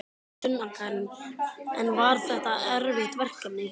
Sunna Karen: En var þetta erfitt verkefni?